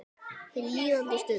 Hin líðandi stund.